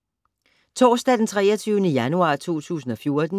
Torsdag d. 23. januar 2014